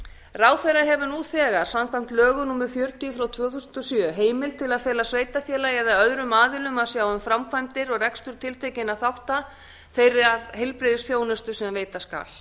ráðherra hefur nú þegar samkvæmt lögum númer fjörutíu tvö þúsund og sjö heimild til að fela sveitarfélagi eða öðrum aðilum að sjá um framkvæmdir og rekstur tiltekinna þátta þeirrar heilbrigðisþjónustu sem veita skal